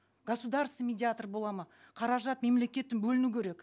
государственный медиатор болады ма қаражат мемлекеттен бөліну керек